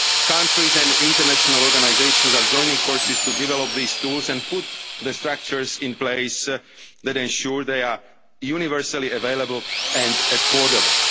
vulnerable. Countries and international organisations are joining forces to develop these tools and put the structures in place that ensure they are universally available and